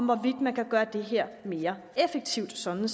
hvorvidt man kan gøre det her mere effektivt sådan